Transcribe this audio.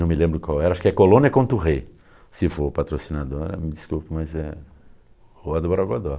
Não me lembro qual era, acho que é Colônia Contouré, se for patrocinadora, me desculpe, mas é Rua do Borogodó.